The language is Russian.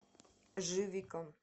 живика